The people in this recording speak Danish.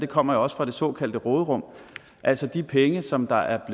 kommer også fra det såkaldte råderum altså de penge som der